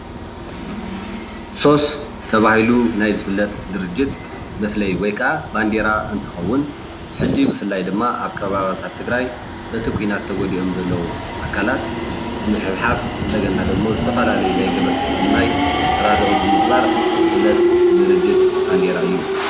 ሶስ ተባሂሉ ናይ ዝፍለጥ ድርጅት መፍለይ ወይ ከዓ በንደራ እንትከውን ሕዚ ድማ ብፍላይ ኣብ ከባቢታት ትግራይ በቲ ኩናት ተጎዲኦም ዘለዉ ኣካላት ንምሕብሓብ እንደገና ደሞ ናይ ዝትፈላለዩ ገበርቲ ሰናይ ተራድኦ ብምግባር ዝፍለጥ ድርጅት ባንደራ እዩ፡፡